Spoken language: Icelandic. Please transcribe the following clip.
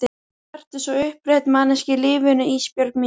Vertu svo upprétt manneskja í lífinu Ísbjörg mín.